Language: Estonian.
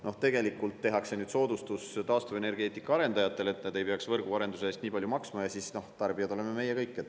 Noh, tegelikult tehakse nüüd soodustus taastuvenergeetika arendajatele, et nad ei peaks võrguarenduse eest nii palju maksma, aga tarbijad oleme meie kõik.